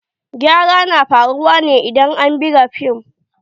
Gyara na faruwa ne idan an buga fim.